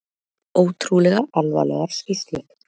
Ótrúlega alvarlegar skýrslur